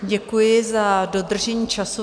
Děkuji za dodržení času.